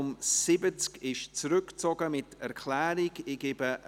Dieses Geschäft wird mit Erklärung zurückgezogen.